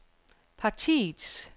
partiets